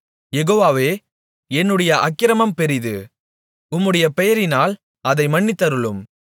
யெகோவாவே என்னுடைய அக்கிரமம் பெரிது உம்முடைய பெயரினால் அதை மன்னித்தருளும்